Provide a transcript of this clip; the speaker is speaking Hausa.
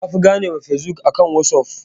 Eh na fi gane wa Fesbuk akan wasuf